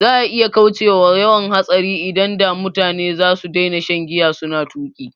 Za'a iya kaucewa yawan hatsari idan da mutane zasu daina shan giya suna tuƙi